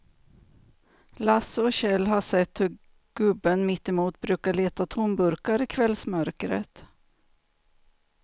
Lasse och Kjell har sett hur gubben mittemot brukar leta tomburkar i kvällsmörkret.